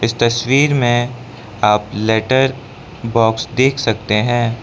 इस तस्वीर में आप लेटर बॉक्स देख सकते है।